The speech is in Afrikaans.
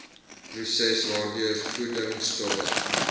proses waardeur voedingstowwe